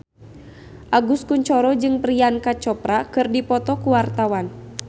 Agus Kuncoro jeung Priyanka Chopra keur dipoto ku wartawan